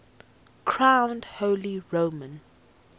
crowned holy roman